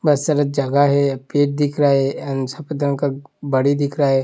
मत सरस जगह है पेड दिख रहा है एंड सफ़ेद रगं का बाड़ी दिख रहा है|